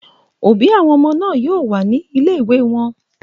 Òbí àwọn ọmọ náà yóò wà ní ilé-ìwé wọn.